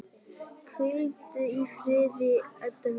Hvíldu í friði, Edda mín.